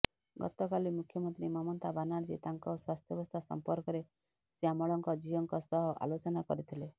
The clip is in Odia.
ଗତକାଲି ମୁଖ୍ୟମନ୍ତ୍ରୀ ମମତା ବାନାର୍ଜୀ ତାଙ୍କ ସ୍ବାସ୍ଥ୍ୟବସ୍ଥା ସମ୍ପର୍କରେ ଶ୍ୟାମଳଙ୍କ ଝିଅଙ୍କ ସହ ଆଲୋଚନା କରିଥିଲେ